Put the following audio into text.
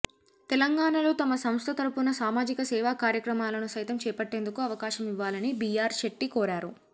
తెలంగాణలో తమ సంస్థ తరఫున సామాజిక సేవా కార్యక్రమాలను సైతం చేపట్టేందుకు అవకాశం ఇవ్వాలని బిఆర్ షెట్టి కోరారు